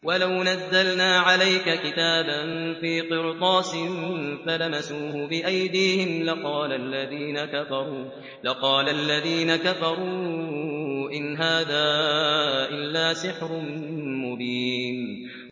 وَلَوْ نَزَّلْنَا عَلَيْكَ كِتَابًا فِي قِرْطَاسٍ فَلَمَسُوهُ بِأَيْدِيهِمْ لَقَالَ الَّذِينَ كَفَرُوا إِنْ هَٰذَا إِلَّا سِحْرٌ مُّبِينٌ